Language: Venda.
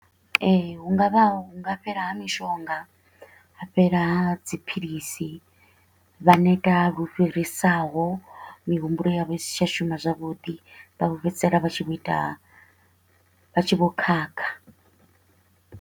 Ee, hu nga vha hu nga fhela ha mishonga, ha fhela ha dziphilisi, vha neta lu fhirisaho mihumbulo yavho i si tsha shuma zwavhuḓi. Vha vho fhedzisela vha tshi vho ita vha tshi vho khakha.